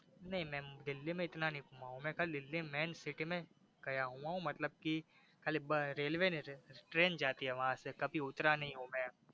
नहीं मै दिल्ली में इतना नहीं घुमा हु में दिल्ली मई main city गया हुआ हु मतलब की खली रेलवे train जाती है वहासे कभी उतरा नहीं हु मे